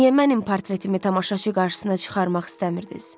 Niyə mənim portretimi tamaşaçı qarşısına çıxarmaq istəmirdiz?